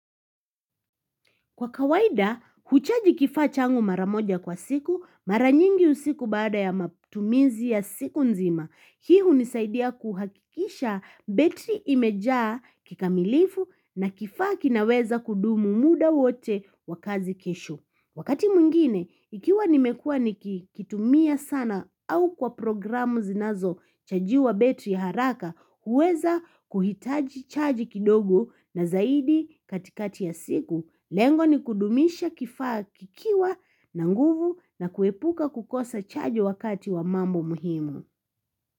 Kwa kawaida, huchaji kifaa changu maramoja kwa siku, maranyingi usiku baada ya matumizi ya siku nzima. Hii hunisaidia kuhakisha betri imejaa kikamilifu na kifaa kinaweza kudumu muda wote wa kazi kesho. Wakati mwingine, ikiwa nimekua nikitumia sana au kwa programu zinazochajiwa betri haraka, huweza kuhitaji chaji kidogo na zaidi katikati ya siku, lengo ni kudumisha kifaa kikiwa na nguvu na kuepuka kukosa chaji wakati wa mambo muhimu.